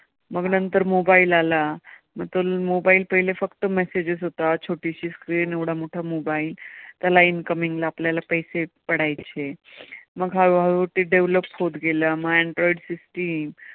मग नंतर mobile आला, मग तो mobile पहिलं फक्त message होता, छोटीशी screen एवढा मोठा mobile त्याला incoming ला आपल्याला पैसे पडायचे, मग हळूहळू ती develop होत गेली मग android system